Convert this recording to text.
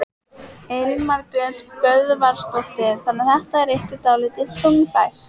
Elín Margrét Böðvarsdóttir: Þannig þetta er ykkur dálítið þungbært?